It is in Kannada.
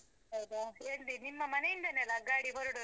ಹೌದಾ, ಎಲ್ಲಿ ನಿಮ್ಮ ಮನೆ ಇಂದನೆ ಅಲಾ ಗಾಡಿ ಹೊರ್ಡದು.